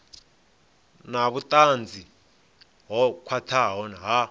na vhutanzi ho khwathaho ha